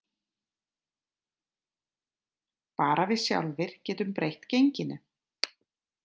Bara við sjálfir getum breytt genginu